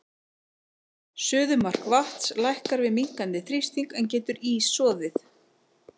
Suðumark vatns lækkar við minnkandi þrýsting, en getur ís soðið?